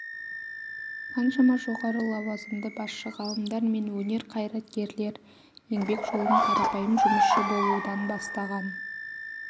қаншама жоғары лауазымды басшы ғалымдар мен өнер қайраткерлер еңбек жолын қарапайым жұмысшы болудан бастаған